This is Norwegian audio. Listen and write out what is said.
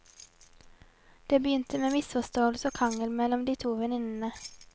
Det begynte med misforståelse og krangel mellom de to venninnene.